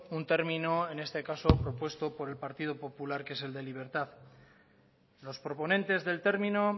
un término en este caso propuesto por el partido popular que es el de libertad los proponentes del término